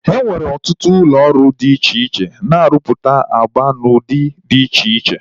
E nwere ọtụtụ ụlọ ọrụ dị iche iche na-arụpụta agba n'ụdị dị iche iche